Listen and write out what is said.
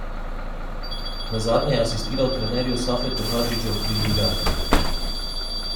Nazadnje je asistiral trenerju Safetu Hadžiću pri Ljubljani.